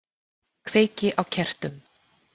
Kveiki á kertum.